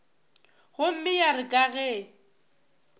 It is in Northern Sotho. gomme ya re ka ge